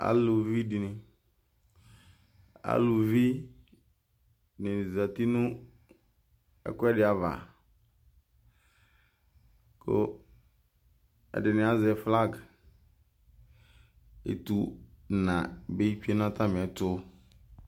Aluvi dɩnɩ,aluvi nɩ zati nʋ ɛkʋɛdɩ ava, kʋ ɛdɩnɩ azɛ flag Etuna bɩ tsue nʋ atamɩɛtʋ